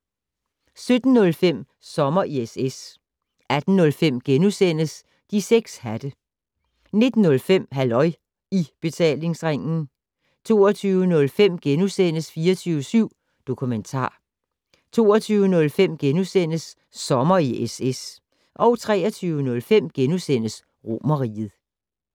17:05: Sommer i SS 18:05: De 6 hatte * 19:05: Halløj I Betalingsringen 20:05: 24syv Dokumentar * 22:05: Sommer i SS * 23:05: Romerriget *